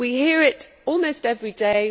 tax. We hear it almost every